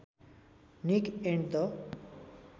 Nick and the